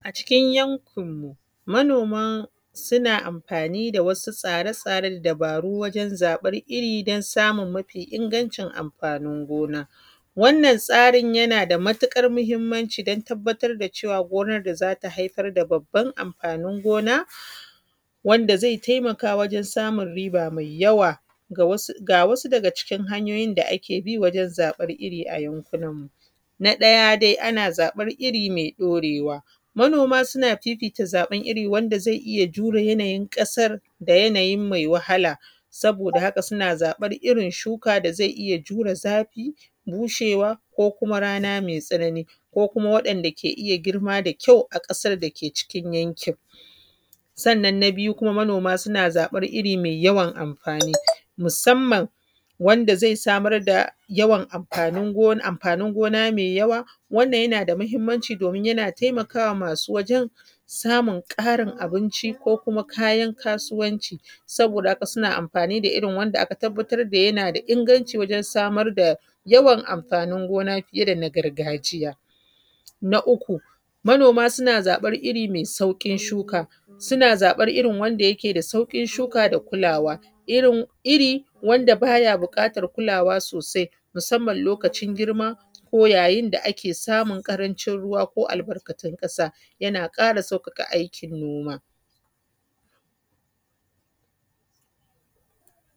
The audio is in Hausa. A cikin yankinmu manoma suna afani da, wasu tsatsaren da dabaru wajen zaɓan iri domin samun mafi ingancin amfanin gona. Wannan tsarin yana da matiƙarmuhimmanci don tabbatar da cewa gonar da za ta haifar da babban amfanin gona, wanda zai taimaka wajen samar da riba mai yawa. Ga wasu daga cikin hanyoyin da ake bi wajen zaɓan iri a yankunan mu. Na ɗaya ana zaɓan iri mai ɗorewa, manoma suna fifita zaɓan iri da zai iyi jure yanayin ƙasar da yanayi mai wahala, saboda haka suna zaɓan irin shuka da zai iya jure zafi, bushewa ko kuma rana mai tsanani, ko kuma wa’yanda ke iya girma da kyau a ƙasar da ke cikin yankin mu. Snnan kuma na biyu, manoma na zaɓan iri mai yawan amfani musamman wanda zai samar da yawan amfanin go amfanin gona mai yawa, wannan yana da muhimmanci domin yana taimakawa masu wajen, samun ƙarin abinci ko kuma kayan kasuwanci. Saboda haka suna amfani da irin da aka tabbatar da yana da inganci wajen samar da yawan amfanin gona fiye da na gargajiya. Na uku manoma suna zaɓan iri mai sauƙin shuka, suna zaɓan iri da yake da sauƙin shuka da kulawa. Iri wand aba ya buƙatar kulawa sosai musamman lokacin girma ko yayin da ake samun ƙarancin ruwa ko albakatun ƙasa, yana ƙara sauƙaƙa aikin noma.